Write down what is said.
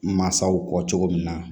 Mansaw kɔ cogo min na